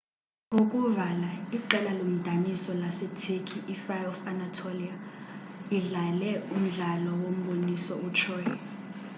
ukuvala iqela lomdaniso lase-turkey i-fire of anatolia lidlale umdlalo wombonisoo u- troy